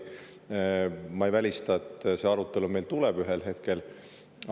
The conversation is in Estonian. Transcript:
Ma ei välista, et see arutelu meil ühel hetkel tuleb.